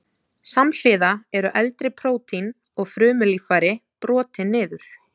Samhliða eru eldri prótín og frumulíffæri brotin niður.